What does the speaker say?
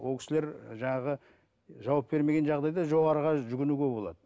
ол кісілер жаңағы жауап бермеген жағдайда жоғарыға жүгінуге болады